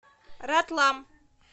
ратлам